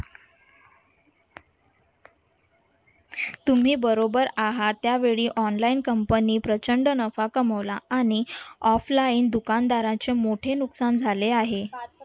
तुम्ही बरोबर आहात त्यावेळी online company प्रचंड नफा कमवला आणि offline दुकानदाराची मोठी नुकसान झाले आहे.